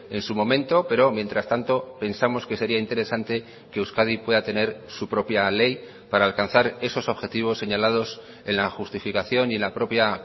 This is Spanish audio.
en su momento pero mientras tanto pensamos que sería interesante que euskadi pueda tener su propia ley para alcanzar esos objetivos señalados en la justificación y en la propia